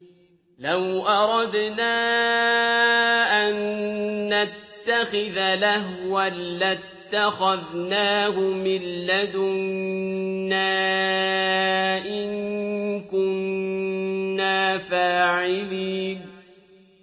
لَوْ أَرَدْنَا أَن نَّتَّخِذَ لَهْوًا لَّاتَّخَذْنَاهُ مِن لَّدُنَّا إِن كُنَّا فَاعِلِينَ